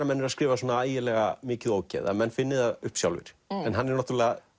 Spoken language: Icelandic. menn eru að skrifa svona ægilega mikið ógeð að menn finni það upp sjálfir en hann